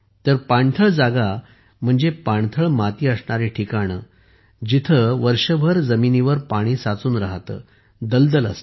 पाणथळ जागा म्हणजेच पाणथळ माती असणारी ठिकाणे जिथे वर्षभर जमिनीवर पाणी साचून राहते दलदल असते